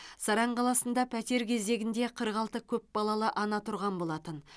саран қаласында пәтер кезегінде қырық алты көпбалалы ана тұрған болатын